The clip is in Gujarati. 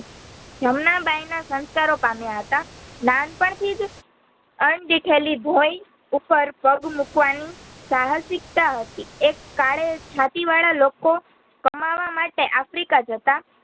જમનાબાઈના સંસ્કારો પામ્યા હતા. નાનપણથિજ ભોઇ ઉપર પગ મૂકવાની સાહસિકતા હતી એક કાળે છાતીવાડા લોકો કામવામાટે આફ્રિકા જતાં